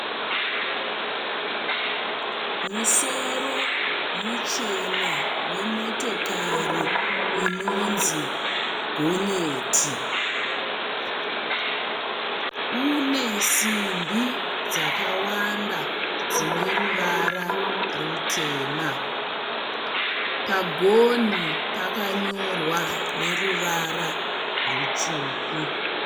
Musoro muchena wemotokari inonzi gonyeti. Une simbi dzakawanda dzine ruvara rutema. Pagonhi pakanyorwa neruvara rutsvuku.